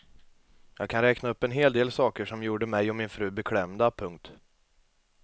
Jag kan räkna upp en hel del saker som gjorde mig och min fru beklämda. punkt